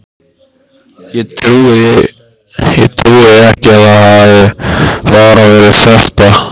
Ég trúi því ekki að það hafi bara verið þetta.